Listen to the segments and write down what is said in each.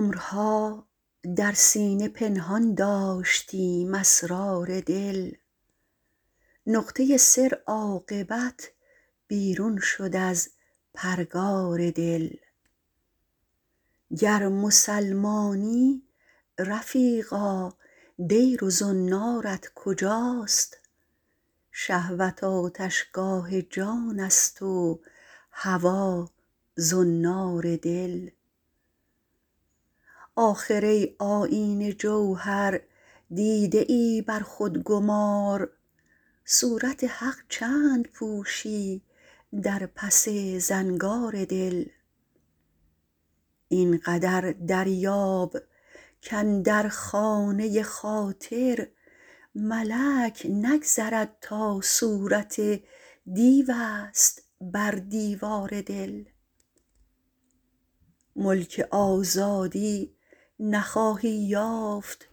عمرها در سینه پنهان داشتیم اسرار دل نقطه سر عاقبت بیرون شد از پرگار دل گر مسلمانی رفیقا دیر و زنارت کجاست شهوت آتشگاه جان است و هوا زنار دل آخر ای آیینه جوهر دیده ای بر خود گمار صورت حق چند پوشی در پس زنگار دل این قدر دریاب کاندر خانه خاطر ملک نگذرد تا صورت دیو است بر دیوار دل ملک آزادی نخواهی یافت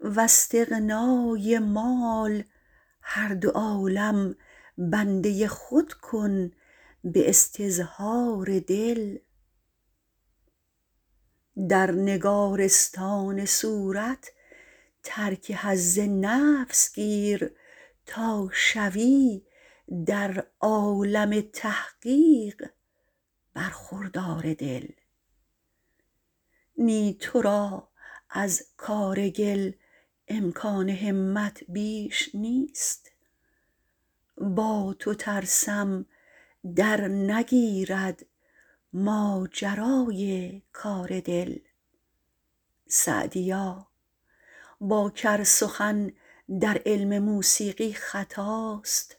واستغنای مال هر دو عالم بنده خود کن به استظهار دل در نگارستان صورت ترک حظ نفس گیر تا شوی در عالم تحقیق برخوردار دل نی تو را از کار گل امکان همت بیش نیست با تو ترسم درنگیرد ماجرای کار دل سعدیا با کر سخن در علم موسیقی خطاست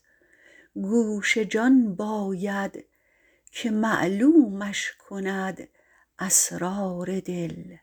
گوش جان باید که معلومش کند اسرار دل